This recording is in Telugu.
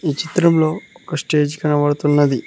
ఈ చిత్రంలో ఒక స్టేజ్ కనబడుతున్నది.